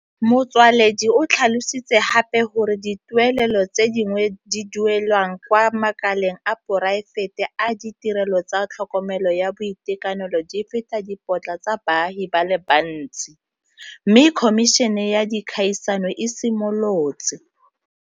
Motsoaledi o tlhalositse gape gore dituelelo tse di duelwang kwa makaleng a poraefete a ditirelo tsa tlhokomelo ya boitekanelo di feta dipotla tsa baagi ba le bantsi, mme Khomišene ya Dikgaisano e simolotse